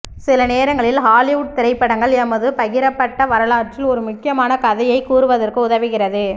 சில நேரங்களில் ஹாலிவுட் திரைப்படங்கள் எமது பகிரப்பட்ட வரலாற்றில் ஒரு முக்கியமான கதையை கூறுவதற்கு உதவுகிறது